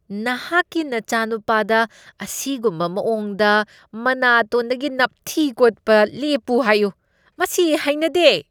ꯅꯍꯥꯛꯀꯤ ꯅꯆꯥꯅꯨꯄꯥꯗ ꯑꯁꯤꯒꯨꯝꯕ ꯃꯑꯣꯡꯗ ꯃꯅꯥꯇꯣꯟꯗꯒꯤ ꯅꯞꯊꯤ ꯀꯣꯠꯄ ꯂꯦꯞꯄꯨ ꯍꯥꯏꯌꯨ꯫ ꯃꯁꯤ ꯍꯩꯅꯗꯦ꯫